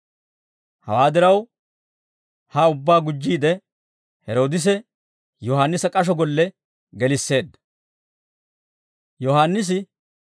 Hawaa diraw ha ubbaa gujjiide Heroodise Yohaannisa k'asho golle gelisseedda.